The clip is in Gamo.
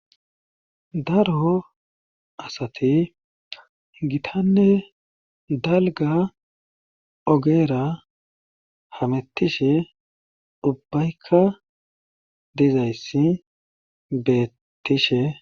Daro asati gitanne dalgga ogeera hamettishe ubbayka dizayssi beettishe.